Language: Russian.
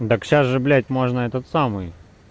так сейчас же блядь можно этот самый